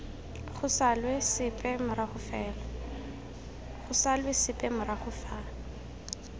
go salwe sepe morago fa